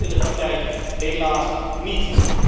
Maar zo werkt het in de praktijk helaas niet.